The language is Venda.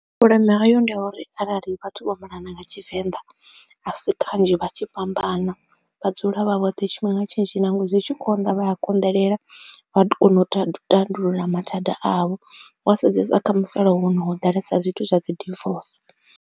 Vhuleme hayo ndi ha uri arali vhathu vho malana nga tshivenḓa a si kanzhi vha tshi fhambana vha dzula vha vhoṱhe tshifhinga tshinzhi nangwe zwi tshi konḓa vha a konḓelela vha kona u tou tandulula mathanda avho, wa sedzesa kha musalauno ho ḓalesa zwithu zwa dzi dirvoce.